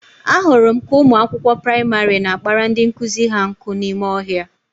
Ahụrụ m ka ụmụ akwụkwọ praịmarị na-akpara ndị nkụzi ha nkụ n'ime ọhịa